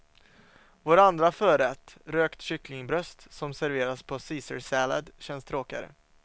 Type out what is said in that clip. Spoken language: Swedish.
Vår andra förrätt, rökt kycklingbröst som serveras på en ceacarsallad känns tråkigare.